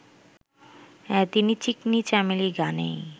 তিনি 'চিকনি চামেলি' গানেই